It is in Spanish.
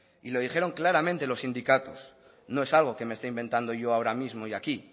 lo dijeron claramente los sindicatos no es algo que me esté inventando yo ahora mismo hoy aquí